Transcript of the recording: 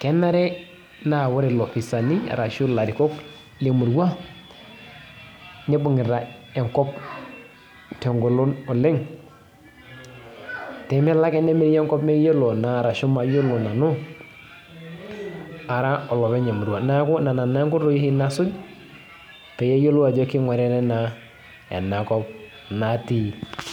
kenare na ore lopisani ashu larikok lemurua nibungita enkop tengolon oleng pemelo ake nemiri enkop mayiolo nanu ara olopeny emurua, neaku nona oshi roruat nasuj payiolou ajo kinguritae enkop natii.